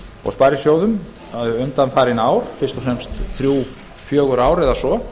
og sparisjóðum undanfarin ár fyrst og fremst þrír til fjögur ár eða svo